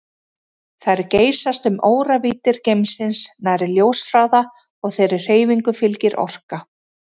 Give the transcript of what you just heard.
Þær geysast um óravíddir geimsins nærri ljóshraða og þeirri hreyfingu fylgir orka.